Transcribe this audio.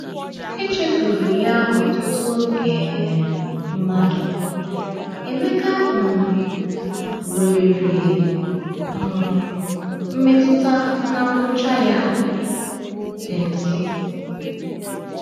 Echefuru ya ọtụtụ um mmadụ, Emeka um nwere um mmetụta na ngwụcha ya dị nso.